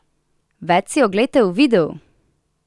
Več si oglejte v videu!